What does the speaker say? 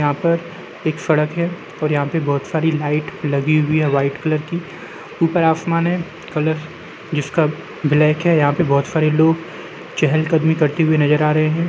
यहाँ पर एक सड़क है और यहाँ पे बहोत सारी लाइट लगी हुई हैं व्हाइट कलर की। ऊपर आसमान है कलर जिसका ब्लैक है। यहाँ पे बहोत सारे लोग चहल कदमी करते हुए नजर आ रहे हैं।